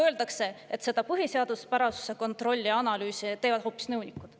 Öeldakse, et põhiseaduspärasuse kontrolli ja analüüsi teevad hoopis nõunikud.